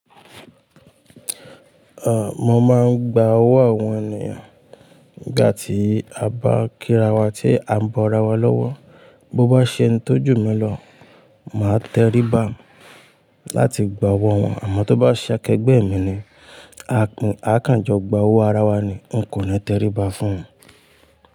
Mo ma ń gba owó àwọn ènìyàn nígbà tí a bá ń k'ira wa tí a ń bọ́ ara wa lọ́wọ́. Bo bá ṣe ẹni tó jù mí lọ, màá terí ba láti gba owó wọn, àmọ́ tó bá ṣe akẹgbẹ́ mi ni, a kàn jọ gba owó ara wa ni, n kò ní terí ba fún un.